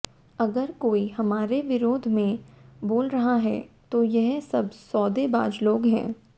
अगर कोई हमारे विरोध में बोल रहा है तो यह सब सौदेबाज लोग हैं